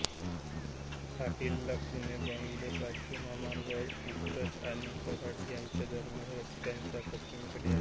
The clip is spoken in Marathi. हा किल्ला पुणेबंगलोर राष्ट्रीय महामार्गावरील उंब्रज आणि कऱ्हाड यांच्या दरम्यान रस्त्याच्या पश्चिमेकडे आहे